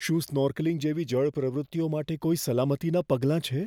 શું સ્નૉર્કલિંગ જેવી જળ પ્રવૃત્તિઓ માટે કોઈ સલામતીનાં પગલાં છે?